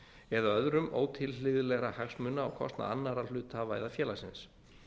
eða öðrum ótilhlýðilegra hagsmuna á kostnað annarra hluthafa eða félagsins